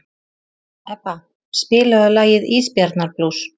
Ebba, spilaðu lagið „Ísbjarnarblús“.